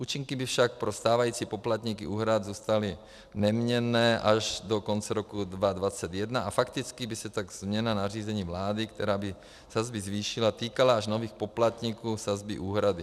Účinky by však pro stávající poplatníky úhrad zůstaly neměnné až do konce roku 2021 a fakticky by se tak změna nařízení vlády, která by sazby zvýšila, týkala až nových poplatníků sazby úhrady.